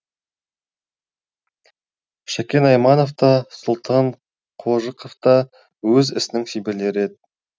шәкен айманов та сұлтан қожықов та өз ісінің шеберлері еді